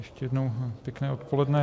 Ještě jednou pěkné odpoledne.